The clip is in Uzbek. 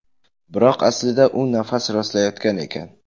Biroq aslida u nafas rostlayotgan ekan.